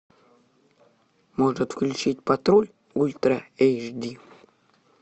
может включить патруль ультра эйч ди